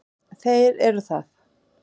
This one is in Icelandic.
Þeir eru það.